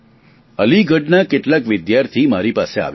અલીગઢના કેટલાક વિદ્યાર્થી મારી પાસે આવ્યા હતા